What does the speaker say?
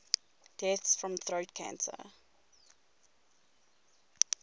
deaths from throat cancer